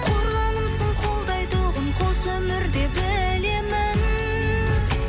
қорғанымсың қолдайтұғын қос өмірде білемін